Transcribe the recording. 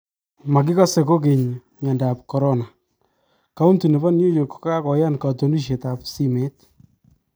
marikase kokeny myandab korona : kaunti nebo New york kokayaan katunisiet ab simet